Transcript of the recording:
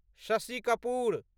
Shashi Kapoor